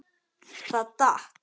Það datt.